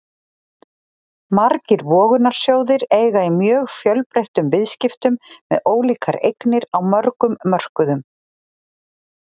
Margir vogunarsjóðir eiga í mjög fjölbreyttum viðskiptum með ólíkar eignir á mörgum mörkuðum.